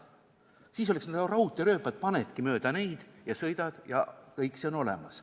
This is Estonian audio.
Siis oleksid need nagu raudteerööpad, panedki mööda neid ja sõidad ja kõik on olemas.